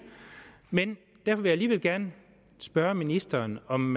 men derfor vil jeg alligevel gerne spørge ministeren om